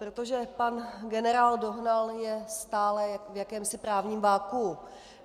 Protože pan generál Dohnal je stále v jakémsi právním vakuu.